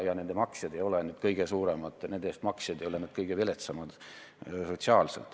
Ka ei ole nende teenuste eest maksjad sotsiaalses mõttes need kõige viletsamad.